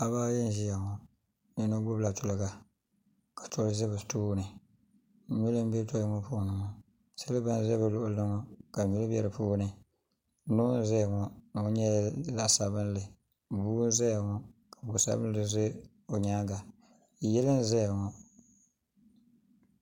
paɣaba ayi n-ʒiya ŋɔ yino gbubi la tuliga ka tɔli ʒi bɛ tooni nyuli m-be tɔli ŋɔ puuni ŋɔ siliba n-za bɛ luɣili ŋɔ ka nyuli be di puuni noo n-zaya ŋɔ noo nyɛla zaɣ' sabinli bua zaya ŋɔ ka bu' sabinli za o nyaaga yili n-zaya ŋɔ.